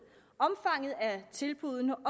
omfanget af tilbuddene og